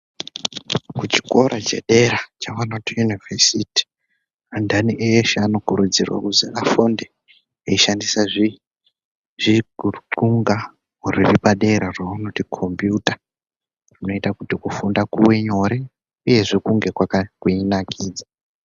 Kuchikora chedera chavanoti Univhesiti antani eshe anokurudzirwa kuzi afunde eishandisa zvitxunga ruri padera ravanoti Khombiuta rinoita kuti kufunda kuve nyore uyezve kunge kweinakidza.